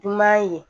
Numan ye